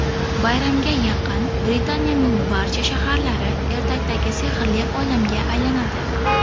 Bayramga yaqin Britaniyaning barcha shaharlari ertakdagi sehrli olamga aylanadi.